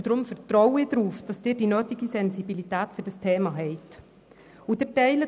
Deshalb vertraue ich darauf, dass Sie die nötige Sensibilität für dieses Thema aufbringen.